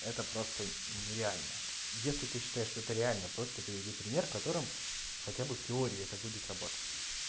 это просто нереально если ты считаешь что ты реально просто приведи пример в котором хотя бы в теории это будет работать